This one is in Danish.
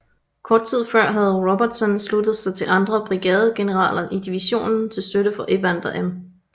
Kort tid før havde Robertson sluttet sig til andre brigadegeneraler i divisionen til støtte for Evander M